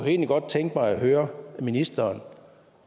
egentlig godt tænke mig at høre ministeren